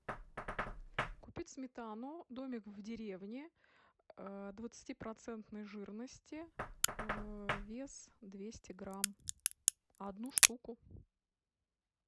купить сметану домик в деревне двадцатипроцентной жирности вес двести грамм одну штуку